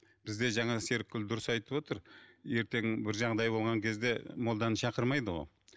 бізде жаңа серікгүл дұрыс айтып отыр ертең бір жағдай болған кезде молданы шақырмайды ғой